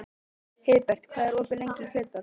Heiðbert, hvað er opið lengi í Kjötborg?